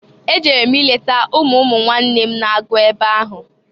E ejere m ileta umu umuwnanne m n-agụ ebe ahụ.